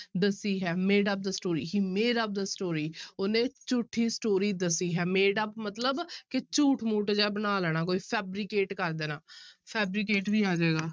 ਦੱਸੀ ਹੈ made-up the story, he made-up the story ਉਹਨੇ ਝੂਠੀ story ਦੱਸੀ ਹੈ made-up ਮਤਲਬ ਕਿ ਝੂਠ ਮੂਠ ਜਿਹਾ ਬਣਾ ਲੈਣਾ ਕੋਈ fabricate ਕਰ ਦੇਣਾ fabricate ਵੀ ਆ ਜਾਏਗਾ।